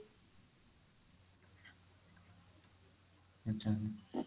ଆଚ୍ଛା